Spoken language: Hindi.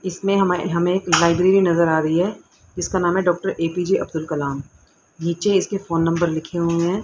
इसमें हम हमें एक लाइब्रेरी नजर आ रही है जिसका नाम है डॉक्टर ए_पी_जे अब्दुल कलाम नीचे इसके फोन नंबर लिखे हुए हैं।